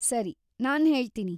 ಸರಿ, ನಾನ್ ಹೇಳ್ತೀನಿ.